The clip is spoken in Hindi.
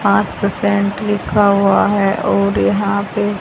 पांच परसेंट लिखा हुआ है और यहां पे--